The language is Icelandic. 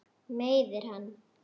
Meiðir hann.